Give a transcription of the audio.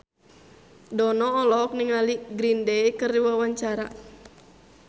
Dono olohok ningali Green Day keur diwawancara